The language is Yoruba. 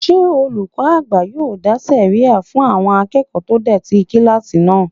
Ṣé olùkọ́ àgbà yóò dá sẹ̀ríyà fún àwọn akẹ́kọ̀ọ́ tó dọ̀tí kílásì náà?